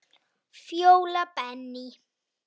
Fjóla Benný.